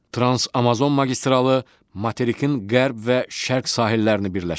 Trans Amazon magistralı materikin qərb və şərq sahillərini birləşdirir.